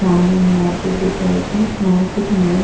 सामने में मार्केट दिख रहल छै मार्केट में --